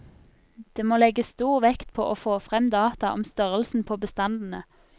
Det må legges stor vekt på å få frem data om størrelsen på bestandene.